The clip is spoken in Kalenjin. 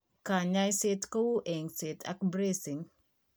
Kanyaiset kou engset ak bracing